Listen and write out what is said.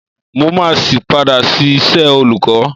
Mó máa sì padà sí iṣẹ́ olùkọ́.